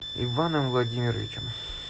иваном владимировичем